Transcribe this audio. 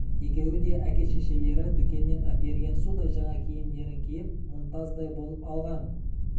екеуі де әке-шешелері дүкеннен әперген судай жаңа киімдерін киіп мұнтаздай болып алған